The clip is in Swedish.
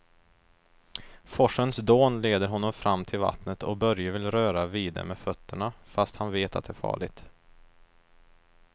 Forsens dån leder honom fram till vattnet och Börje vill röra vid det med fötterna, fast han vet att det är farligt.